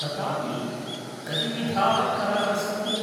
ततापि कतिविधाः कराः सन्ति?